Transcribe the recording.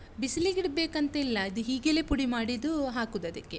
ಬಿಸಿಲಿಗಿಡ್ಬೇಕಂತ ಇಲ್ಲ. ಅದು ಹೀಗೆಲೇ ಪುಡಿ ಮಾಡಿದ್ದು ಹಾಕುದು ಅದಕ್ಕೆ.